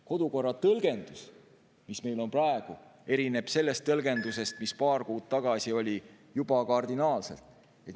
Kodukorra tõlgendus, mis meil on praegu, erineb sellest tõlgendusest, mis oli paar kuud tagasi, juba kardinaalselt.